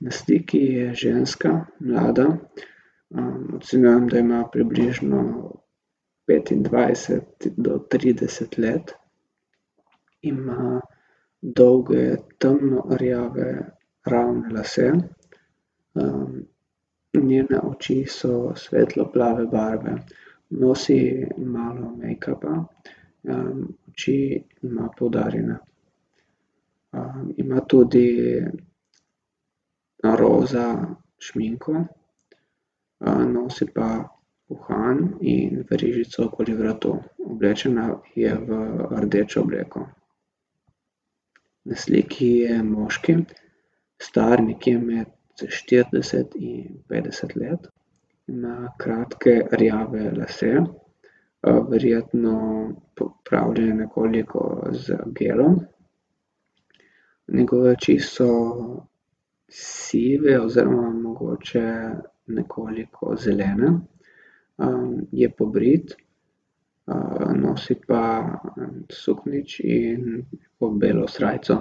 Na sliki je ženska, mlada. ocenjujem, da ima približno petindvajset do trideset let. Ima dolge, temno rjave ravne lase, njene oči so svetlo plave barve. Nosi malo mejkapa, oči ima poudarjene. ima tudi roza šminko, nosi pa uhan in verižico okoli vratu. Oblečena je v rdečo obleko. Na sliki je moški, star nekje med štirideset in petdeset let. Ima kratke rjave lase, verjetno popravljene nekoliko z gelom. Njegove oči so sive oziroma mogoče nekoliko zelene. je pobrit, nosi pa suknjič in pa belo srajco.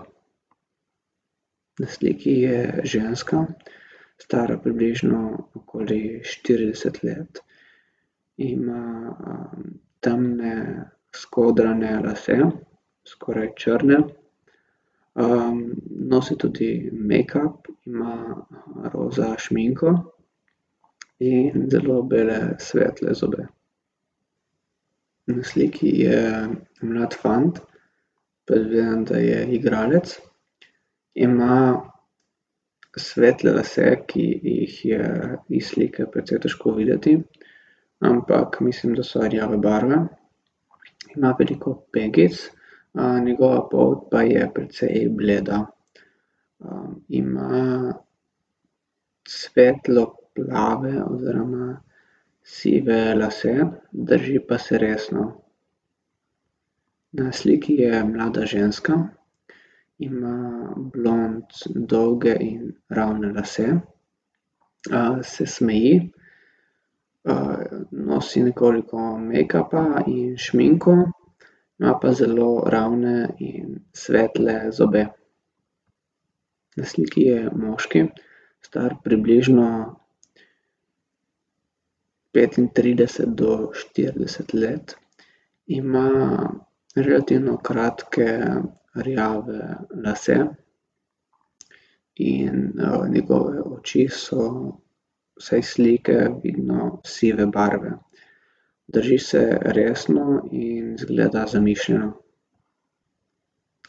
Na sliki je ženska, stara približno okoli štirideset let. Ima, temne skodrane lase, skoraj črne. nosi tudi mejkap, ima, roza šminko in zelo bele svetle zobe. Na sliki je mlad fant. Predvidevam, da je igralec. Ima svetle lase, ki jih je iz slike precej težko videti, ampak mislim, da so rjave barve. Ima veliko pegic, njegova polt pa je precej bleda. ima svetlo plave oziroma sive lase, drži pa se resno. Na sliki je mlada ženska, ima blond dolge in ravne lase. se smeji, nosi nekoliko mejkapa in šminko. Ima pa zelo ravne in svetle zobe. Na sliki je moški, star približno petintrideset do štirideset let. Ima relativno kratke rjave lase in, njegove oči so, vsaj iz slike vidno, sive barve. Drži se resno in izgleda zamišljeno.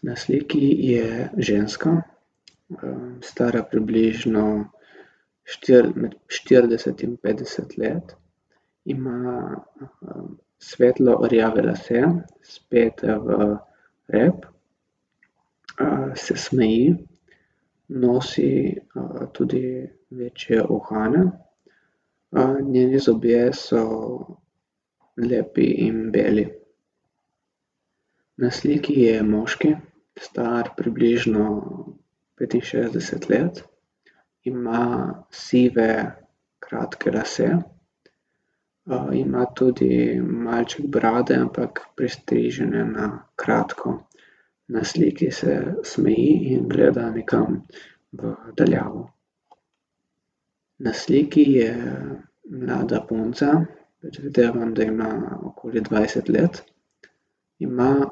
Na sliki je ženska, stara približno med štirideset in petdeset let. Ima, svetlo rjave lase, spete v rep. se smeji, nosi, tudi večje uhane. njeni zobje so lepi in beli. Na sliki je moški, star približno petinšestdeset let. Ima sive kratke lase, ima tudi malček brade, ampak pristrižene na kratko. Na sliki se smeji in gleda nekam v daljavo. Na sliki je mlada punca, predvidevam, da ima okoli dvajset let. Ima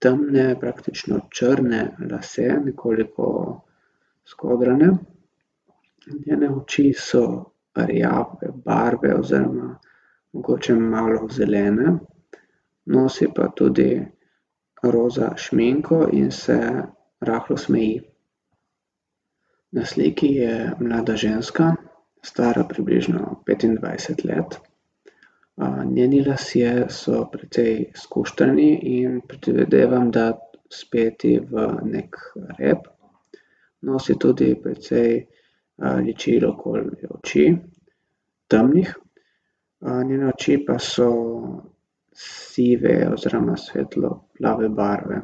temne, praktično črne lase, nekoliko skodrane. Njene oči so rjave barve oziroma mogoče malo zelene. Nosi pa tudi roza šminko in se rahlo smeji. Na sliki je mlada ženska, stara približno petindvajset let. njeni lasje so precej skuštrani in predvidevam, da speti v neki rep. Nosi tudi precej, ličil okoli oči, temnih. njene oči pa so sive oziroma svetlo plave barve.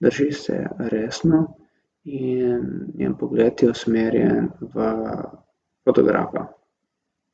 Drži se resno in njen pogled je usmerjen v fotografa.